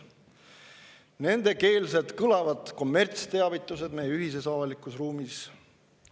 Nendekeelsed kõlavad kommertsteavitused meie ühises avalikus ruumis.